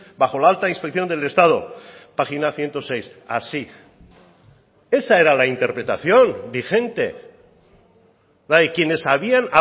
bajo la alta inspección del estado página ciento seis así esa era la interpretación vigente la de quienes habían